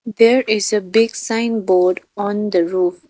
There is a big sign board on the roof .